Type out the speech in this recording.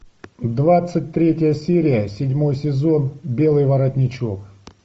двадцать третья серия седьмой сезон белый воротничок